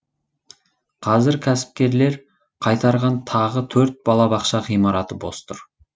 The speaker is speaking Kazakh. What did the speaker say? қазір кәсіпкерлер қайтарған тағы төрт балабақша ғимараты бос тұр